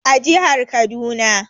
A jihar Kaduna